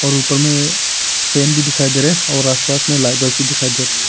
उपर में फैन भी दिखाई दे रहा और आसपास में लाइट बल्ब भी दिखाई दे रहा--